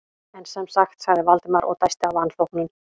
En sem sagt- sagði Valdimar og dæsti af vanþóknun.